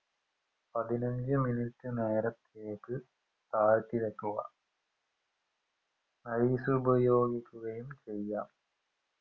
പതിനഞ്ചു minute നേരത്തേക്ക് തായ്തി വെക്കുക ice ഉപയോഗിക്കുകയും ചെയ്യാം